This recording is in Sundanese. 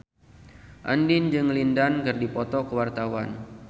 Andien jeung Lin Dan keur dipoto ku wartawan